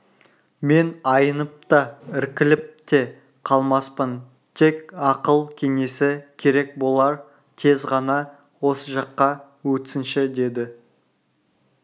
мен аянып та іркіліп те қалмаспын тек ақыл-кеңесі керек болар тез ғана осы жаққа өтсінші деді